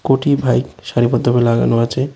কটি বাইক সারিবদ্ধভাবে লাগানো আছে।